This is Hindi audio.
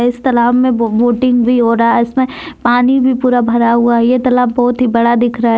इस तालाब में बोटिंग भी हो रहा है इसमें पानी भी पूरा भरा हुआ है ये तालाब बहुत ही बड़ा दिख रहा है।